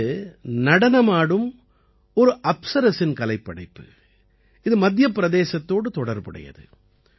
இது நடனமாடும் ஒரு அப்சரசின் கலைப்படைப்பு இது மத்திய பிரதேசத்தோடு தொடர்புடையது